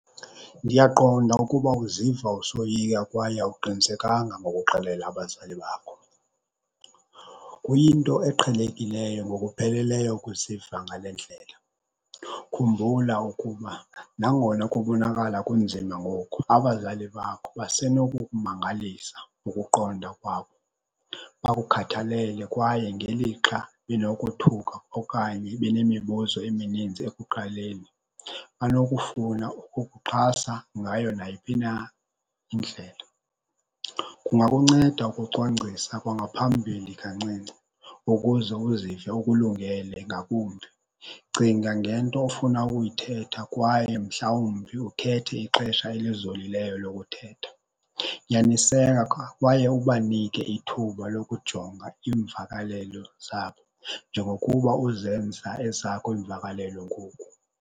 Ndiyaqonda ukuba uziva usoyika kwaye awuqinisekanga ngokuxelela abazali bakho. Kuyinto eqhelekileyo ngokupheleleyo ukuziva ngale ndlela. Khumbula ukuba nangona kubonakala kunzima ngoku abazali bakho basenokukumangalisa ngokuqonda kwabo bakukhathalele. Kwaye ngelixa benokothuka okanye benemibuzo emininzi ekuqaleni, banokufuna ukukuxhasa ngayo nayiphi na indlela. Kungakunceda ukucwangcisa kwangaphambili kancinci ukuze uzive ukulungele ngakumbi. Cinga ngento ofuna ukuyithetha kwaye mhlawumbi ukhethe ixesha elizolileyo lokuthetha. Nyaniseka kwaye ubanike ithuba lokujonga iimvakalelo zabo njengokuba uzenza ezakho iimvakalelo ngoku.